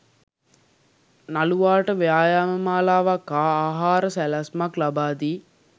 නළුවාට ව්‍යායාම මාලාවක් හා ආහාර සැලැස්මක් ලබා දී